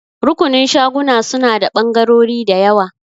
Rukunin shaguna suna da ɓangarori da yawa.